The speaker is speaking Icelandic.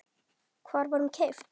Hvar var hún keypt?